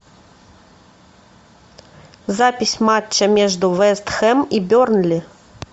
запись матча между вест хэм и бернли